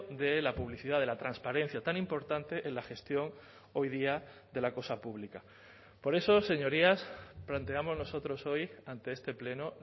de la publicidad de la transparencia tan importante en la gestión hoy día de la cosa pública por eso señorías planteamos nosotros hoy ante este pleno